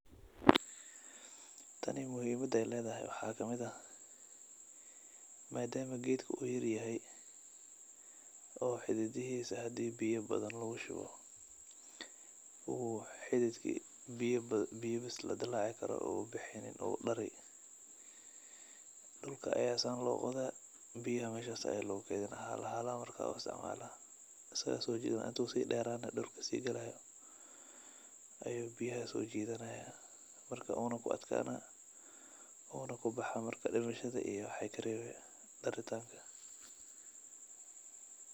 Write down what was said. Tani muhimada ay ledahay waxa kamid ah maadama gedka u yaryahay, oo hidhidixisa hadi biyaa badan lagu shubo uu xidhidki biya bas ladilaci karo u baxeynin u dari , dhulka ayaa san loqodaa biyaha mesha ayaa logu keydinaa, halahala ayaa marka u isticmala asaga so jidhana intu si dheranayo dhulku si galayaa ayu biyahas so jidhanaya marka una ku adkanaya una ku kubahaa, marka waxey karebi dhimashada iyo dari tanka.